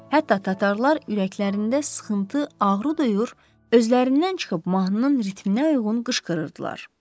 Hətta tatarlar ürəklərində sıxıntı, ağrı duyur, özlərindən çıxıb mahnının ritminə uyğun qışqırırdılar.